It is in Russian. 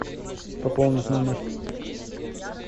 пополнить номер